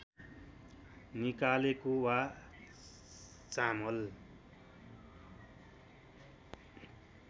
निकालेको वा चामल